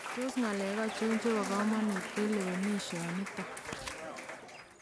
Tos ng'alek achon chebo kamanuut en lewenisho niton?